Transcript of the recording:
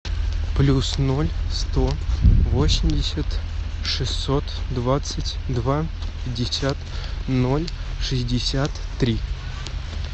плюс ноль сто восемьдесят шестьсот двадцать два пятьдесят ноль шестьдесят три